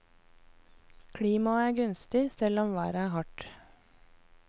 Klimaet er gunstig, selv om været er hardt.